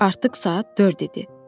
Artıq saat dörd idi.